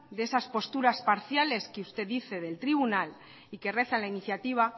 de esas posturas parciales que usted dice del tribunal y que reza la iniciativa